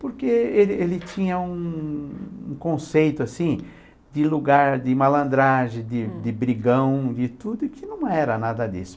Porque ele ele tinha um... um conceito de lugar de malandragem, de de brigão, de tudo, que não era nada disso.